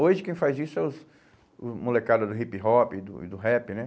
Hoje quem faz isso é os o molecada do hip-hop e do e do rap, né?